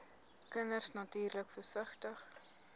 kinders natuurlik versigtig